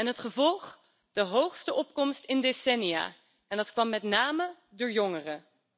Het gevolg is de hoogste opkomst in decennia, en dat kwam met name door jongeren.